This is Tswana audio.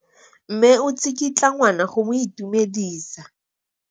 Mme o tsikitla ngwana go mo itumedisa.